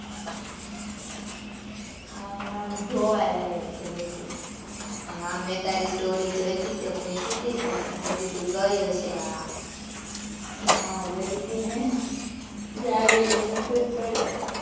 આમ આમ જોવાલાયક છે બધુ. હાં મે તારી story જોઈ તી તે મુયકી હતી ને મે કીધું ગઈ હશે આ. હાં હું ગઈ તી ને. જાવ એટલે મૂકવું જ પડે ને. આમ આમ જોવાલાયક છે બધુ.